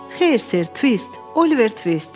Xeyr, ser, Twist, Oliver Twist.